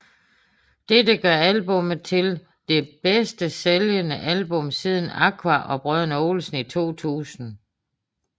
Dette gør albummet til det bedst sælgende album siden Aqua og Brødrene Olsen i 2000